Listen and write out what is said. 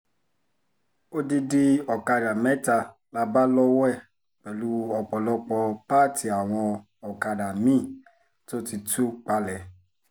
odidi ọ̀kadà mẹ́ta la bá lọ́wọ́ ẹ̀ pẹ̀lú ọ̀pọ̀lọpọ̀ pààtì àwọn ọ̀kadà mi-ín tó ti tú palẹ̀